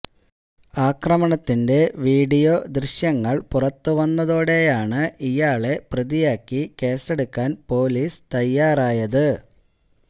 ആക്രമണത്തിന്റെ വീഡിയോ ദൃശ്യങ്ങൾ പുറത്തുവന്നതോടെയാണ് ഇയാളെ പ്രതിയാക്കി കേസെടുക്കാൻ പോലിസ് തയ്യാറായത്